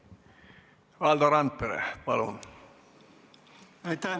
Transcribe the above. Valdo Randpere, palun!